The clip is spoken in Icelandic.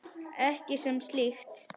Ekki sem slíkt.